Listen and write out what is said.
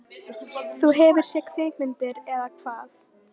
Þú hefur séð kvikmyndir, eða hvað?